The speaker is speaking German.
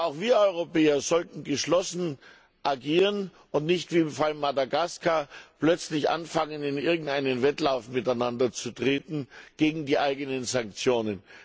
Aber auch wir Europäer sollten geschlossen agieren und nicht wie im Fall Madagaskar plötzlich anfangen, in irgendeinen Wettlauf miteinander zu treten gegen die eigenen Sanktionen.